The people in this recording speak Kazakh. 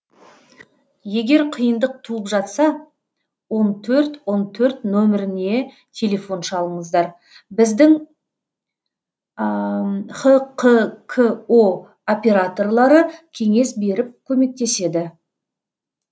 егер қиындық туып жатса он төрт он төрт нөміріне телефон шалыңыздар біздің хқко операторлары кеңес беріп көмектеседі